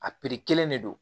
A kelen de don